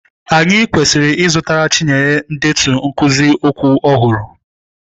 Anyị kwesịrị ịzụtara Chinyere ndetu nkuzi okwu ọhụrụ.